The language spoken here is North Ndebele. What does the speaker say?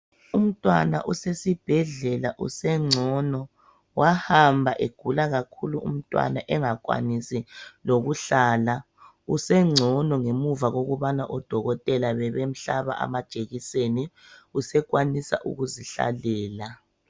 Umntwana usesibhedlela usengcono wahamba egula kakhulu umntwana engakwanisi lokuhlala usengcono ngemuva kokuba odokotela bebemhlaba amajekiseni. Usekwanisa ukuzihlalela.